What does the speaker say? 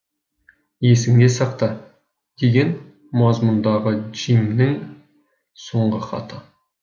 есіңде сақта деген мазмұндағы джимнің соңғы хаты